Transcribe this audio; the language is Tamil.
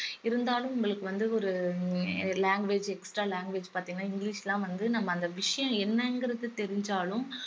இருந்தாலும் உங்களுக்கு வந்து ஒரு language extra language பாத்தீங்கன்னா இங்கிலிஷ்லாம் வந்து நம்ம அந்த விஷயம் என்னங்கிறது தெரிஞ்சாலும்